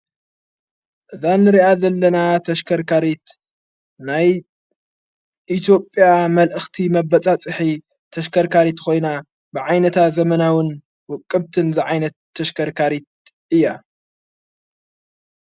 እዛ ንርኣ ዘለና ተሽከርካሪት ናይ ኢቴዮጵያ መልእኽቲ መበጻ ጽሒ ተሽከርካሪት ኾይና ብዓይነታ ዘመናውን ውቅብትን ዝዓይነት ተሽከርካሪት እያ።